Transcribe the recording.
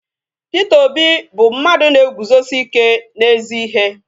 Peter Obi bu mmadu na-eguzosi ike n'ezi ihe